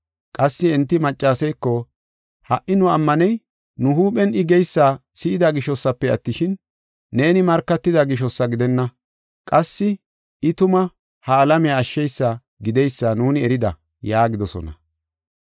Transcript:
Qassi enti maccaseeko, “Ha77i nu ammaney nu huuphen I geysa si7ida gishosafe attishin, neeni markatida gishosa gidenna. Qassi I tuma ha alamiya ashsheysa gideysa nuuni erida” yaagidosona.